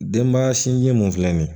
Denbaya sinji mun filɛ nin ye